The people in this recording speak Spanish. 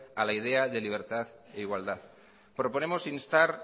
a la idea de libertad e igualdad proponemos instar